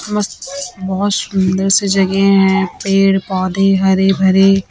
बहोत सुंदर सी जगह है पेड़ पौधे हरे भरे।